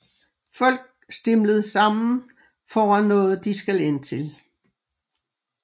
Folk stimlet sammen foran noget de skal ind til